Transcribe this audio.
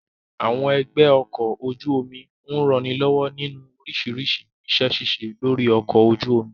Àwọn ẹgbẹ́ ọkọ̀ ojú omi ń ranilọ́wọ́ nínú oríṣiríṣi iṣẹ́ ṣíṣe lórí ọkọ̀ ojú omi